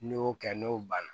N'i y'o kɛ n'o banna